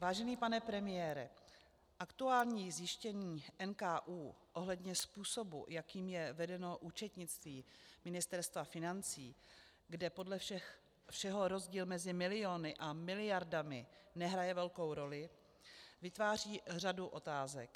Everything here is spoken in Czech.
Vážený pane premiére, aktuální zjištění NKÚ ohledně způsobu, jakým je vedeno účetnictví Ministerstva financí, kde podle všeho rozdíl mezi miliony a miliardami nehraje velkou roli, vytváří řadu otázek.